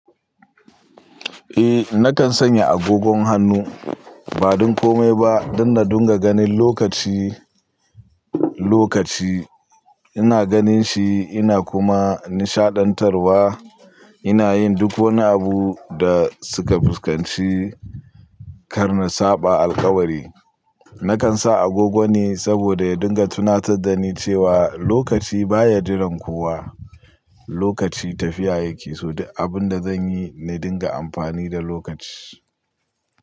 Eh, nakan sanya agogon hannu ba don komai ba don na dunga ganin lokaci, lokaci. Ina ganin shi ina kuma nishaɗantarwa. Ina yin duk wani abu da suka fuskanci. Kar na saɓa alƙawari. Nakan sa agogo ne saboda ya dunga tunatar da ni cewa lokaci baya jiran kowa. Lokaci tafiya yake, so duk abinda da zan yi na dunga amfani da lokaci.